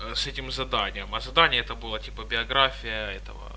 с этим заданием а задания это было типа биография этого